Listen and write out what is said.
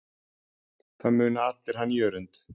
Það muna allir hann Jörund.